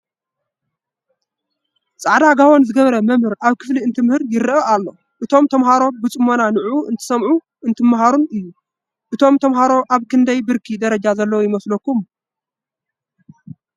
ፃዕዳ ጋቦን ዝገበረ መ/ር ኣብ ክፍሊ እንተምህር ይረአ፡፡ እቶም ተምሃሮ ብፅሞና ንዑኡ እንትሰምዑን እንትማሃሩን እዩ፡፡ እቶም ተምሃሮ ኣብ ክንደይ ብርኪ ደረጃ ዘለው ይመስለኩም?